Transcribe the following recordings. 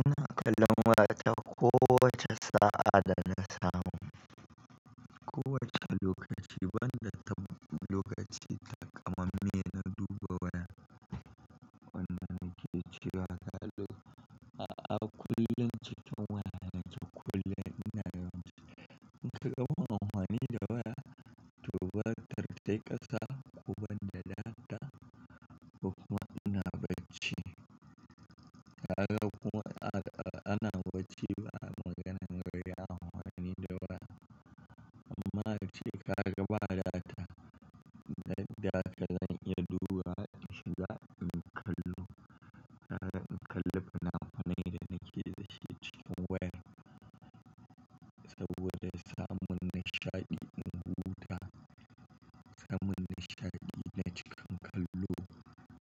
Ina kallon waya ta kowace sa'a da na samu, kowace lokaci banda lokacin takaman me na duba waya. Wannan na ke cewa a kullum cikin waya na cikin kullum ina yawanci, in kai ga muhawani da waya, to batar tai ƙasa, ko ban da data ko kuma ina bacci. Kaga kuma ana wucewa maganan gari a muhawani da waya. Amma a ce kaga bala ta duk da haka zan iya dubawa in shiga inyi kallo. Kaga in kalle fina funai da nake da shi cikin waya. Saboda samun nishaɗi in huta, samun nishaɗi yana cikin kallo.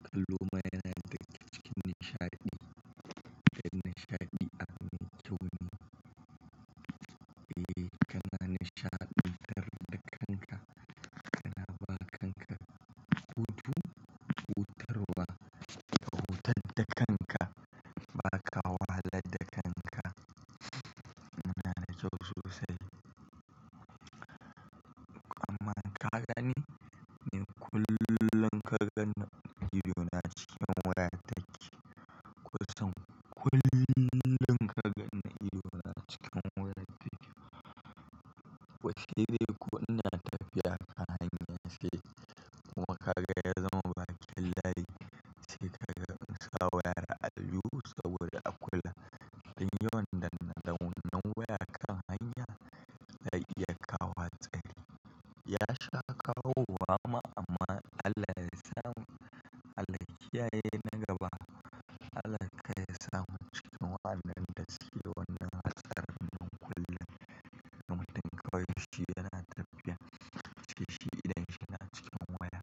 Kallo ma yana da ga kicin nishaɗi, da nishaɗi a mintoni. Eh, kana nishaɗi tar da kanka, kana ba kanka hutu, hutarwa, ka hutar da kanka, ba ka wahalad da kanka. Na da kyau sosai. Amma ka gani, ni kullum ka ganni ido na cikin waya take. Kowasan kullum ka ganni ido na cikin waya take. Wace ce ko ina tafiya ta hanya sai kuma ka ga ya zama bakin layi, sai ka ga in sa wayar allijihu saboda a kula. Dan yiwu wannan danedanen waya akan hanya zai iya kawo hatsari. Ya sha kawo wa ma amma Allah ya samu. Allah ya kiyaye na gaba, Allah kawai ya samu cikin waɗannan da suke wannan matsalar nan kullum. Da mutum kawai shi yana tafiya, sai shi idon shi na cikin waya.